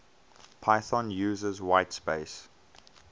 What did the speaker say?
python uses whitespace